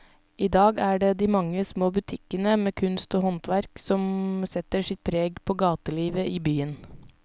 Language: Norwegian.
I dag er det de mange små butikkene med kunst og håndverk som setter sitt preg på gatelivet i byen.